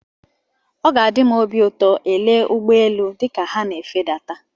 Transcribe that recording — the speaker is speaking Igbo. Ọ ga-enye m obi ụtọ ele ụgbọ elu dịka ha na-efedata.